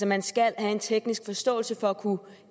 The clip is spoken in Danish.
man skal have en teknisk forståelse for at kunne